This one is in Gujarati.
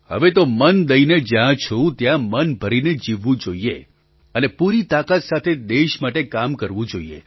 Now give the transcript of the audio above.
હવે તો મન દઈને જ્યાં છું ત્યાં મન ભરીને જીવવું જોઈએ અને પૂરી તાકાત સાથે દેશ માટે કામ કરવું જોઈએ